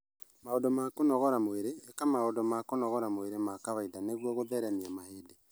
maũndũ ma kũnogora mwĩrĩ: ĩka maũndũ ma kũnogora mwĩrĩ ma kawaida nĩguo gũtheremia mahĩndĩ